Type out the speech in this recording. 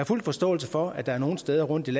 fuld forståelse for at der er nogle steder rundtom